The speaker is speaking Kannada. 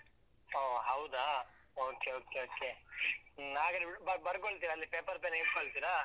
ಹೊ ಹೌದಾ? okay okay okay . ಹ್ಮ್. ಹಾಗಾದ್ರೆ ಅಹ್ ಬರ್ ಬರ್ಕೊಳ್ತೀರಾ? ಅಂದ್ರೆ paper, pen ಹಿಡ್ಕೊಳ್ತೀರಾ?